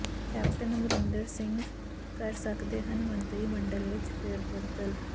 captain Amarinder Singh ਕਰ ਸਕਦੇ ਹਨ ਮੰਤਰੀ ਮੰਡਲ ਵਿੱਚ ਫੇਰਬਦਲ